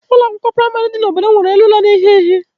Ụlọ akwụkwọ praịmarị dị n'obodo m nwere elu ụlọ na-ehi ehi.